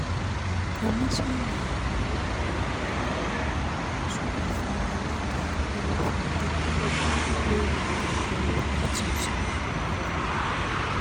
kọmíṣọ́ńnà ọlọ́pàá èkó gbósùbà fún alága olúfúnge lórí àgọ́ ọlọ́pàá tuntun ọ̀rẹ́gun